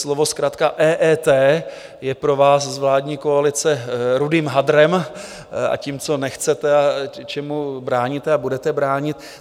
Slovo zkratka EET je pro vás z vládní koalice rudým hadrem a tím, co nechcete, čemu bráníte a budete bránit.